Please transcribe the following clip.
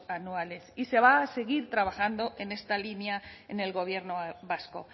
anuales y se va a seguir trabajando en esta línea en el gobierno vasco